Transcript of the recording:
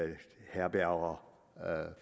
herberger